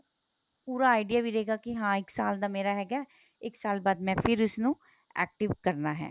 ਪੂਰਾ idea ਮਿਲੇਗਾ ਕੀ ਹਾਂ ਇੱਕ ਸਾਲ ਦਾ ਮੇਰਾ ਹੈਗਾ ਇੱਕ ਸਾਲ ਬਾਅਦ ਮੈਂ ਫ਼ਿਰ ਇਸ ਨੂੰ active ਕਰਨਾ ਹੈ